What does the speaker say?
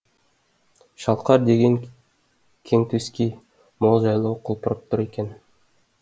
шалқар деген кең төскей мол жайлау құлпырып тұр екен